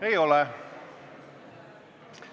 Ei ole.